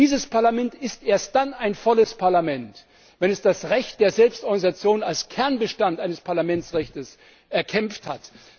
wo? Dieses Parlament ist erst dann ein volles Parlament, wenn es das Recht der Selbstorganisation als Kernbestand eines Parlamentsrechtes erkämpft hat.